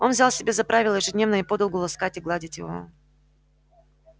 он взял себе за правило ежедневно и подолгу ласкать и гладить его